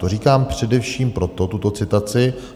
To říkám především proto, tuto citaci.